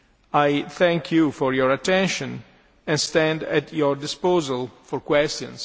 I thank you for your attention and stand at your disposal for questions.